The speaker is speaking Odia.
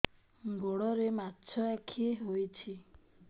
ଗୋଡ଼ରେ ମାଛଆଖି ହୋଇଛି